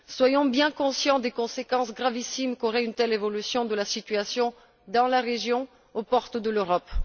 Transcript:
Soyons bien conscients des conséquences gravissimes qu'aurait une telle évolution de la situation dans la région, aux portes de l'Europe.